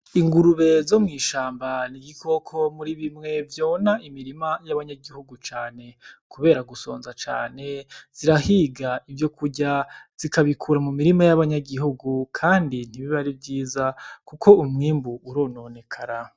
Ingurube zo mw'ishamba ni igikoko muri bimwe vyona imirima y'abanyagihugu cane kubera gusonza cane zirahiga ivyokurya zikabikura mumirima y' abanyagihugu kandi ntibiba ari vyiza kuko umwimbu urononekara.